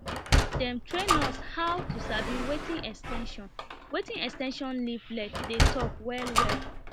dem train us how to sabi wetin ex ten sion wetin ex ten sion leaflet dey talk wellwell